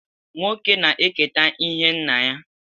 Nwoke na-eketa ihe nna ya.